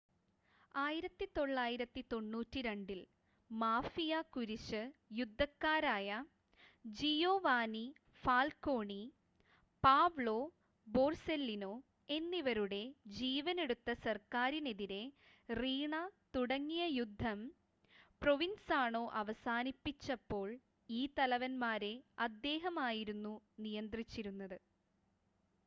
1992-ൽ mafia കുരിശ് യുദ്ധക്കാരായ Giovanni Falcone Paolo Borsellino എന്നിവരുടെ ജീവൻ എടുത്ത സർക്കാരിനെതിരെ റീണ തുടങ്ങിയ യുദ്ധം പ്രൊവിൻസാണോ അവസാനിപ്പിച്ചപ്പോൾ ഈ തലവന്മാരെ അദ്ദേഹം ആയിരുന്നു നിയന്ത്രിച്ചിരുന്നത്